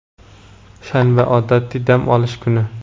shanba – odatiy dam olish kuni.